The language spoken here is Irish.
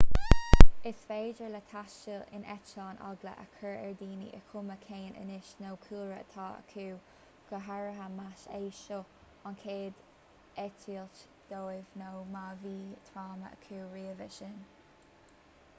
is féidir le taisteal in eitleán eagla a chur ar dhaoine is cuma cén aois nó cúlra atá acu go háirithe más é seo an chéad eitilt dóibh nó má bhí tráma acu roimhe sin